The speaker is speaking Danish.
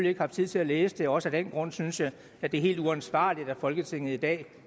ikke haft tid til at læse det og også af den grund synes jeg at det er helt uansvarligt at folketinget i dag